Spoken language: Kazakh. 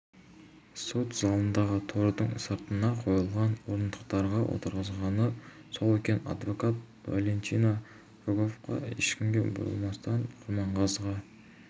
сот залындағы тордың сыртына қойылған орындықтарға отырғызғаны сол екен адвокат валентина рогова ешкімге бұрылмастан құрманғазыға